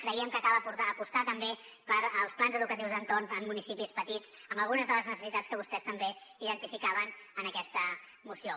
creiem que cal apostar també pels plans educatius d’entorn en municipis petits amb algunes de les necessitats que vostès també identificaven en aquesta moció